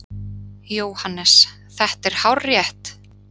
JÓHANNES: Þetta er hárrétt!